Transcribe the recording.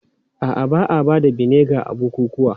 A'a, ba a ba da vinegar a bukukuwa.